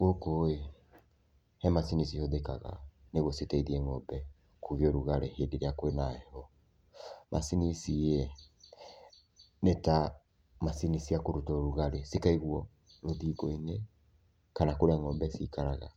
Gũkũ-ĩ he macini cihũthĩkaga nĩguo citeithie ng'ombe, kũgĩa ũrugarĩ hĩndĩ irĩa kwina heho. Macini ici-ĩ, nĩta macini cia kũruta ũrugarĩ, cikaigwo rũthingo-inĩ kana kũrĩa ng'ombe cikaraga.